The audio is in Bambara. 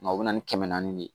Nka u bɛ na ni kɛmɛ naani de ye